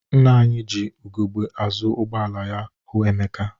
Nna anyị ji ugegbe azụ ụgbọala ya hụ Emeka.